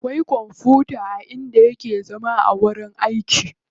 Akwai kwamfuta a inda yake zama a wajen aiki.